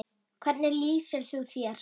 Hvernig lýsir þú þér?